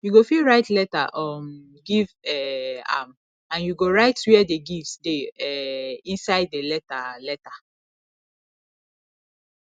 you go fit write letter um give um am and you go write where the gift dey um inside the letter letter